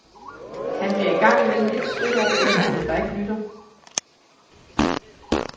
Han bliver en gang imellem lidt stødt over forældrene, der ikke lytter.